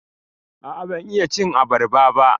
A'a, ban iya cin abarba ba.